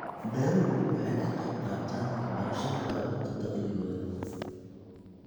Beeruhu waxay ka qaybqaataan waxbarashada carruurta dakhligooda.